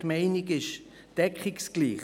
Die Meinung ist deckungsgleich.